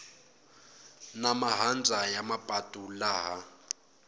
na mahandza ya mapatu laha